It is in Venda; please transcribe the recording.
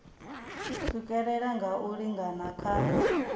swikelela nga u lingana kha